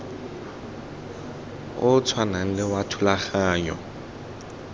o tshwanang le wa thulaganyo